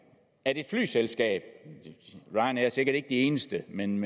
at et flyselskab ryanair er sikkert ikke de eneste men